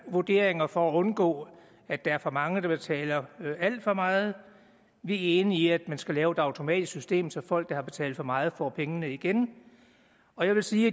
vurderinger for at undgå at der er for mange der betaler alt for meget vi er enige i at man skal lave et automatisk system så folk der har betalt for meget får pengene igen og jeg vil sige